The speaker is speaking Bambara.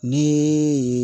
Ni